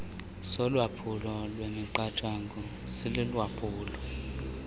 solwaphulo lwemiqathango silulwaphulo